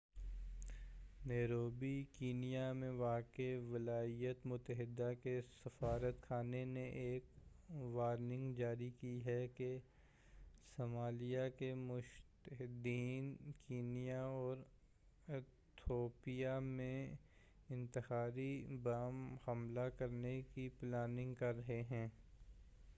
Nairobi Kenya میں واقع ولایاتِ متحدہ کے سفارت خانہ نے ایک وارننگ جاری کی ہے کہ صمالیہ کے متشدّدین کینیا اور اتھیوپیا میں انتحاری بم حملے کرنے کی پلاننگ کر رہے ہیں